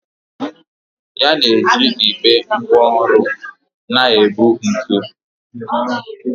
Ya na-eji igbe ngwá ọrụ na-ebu ntu.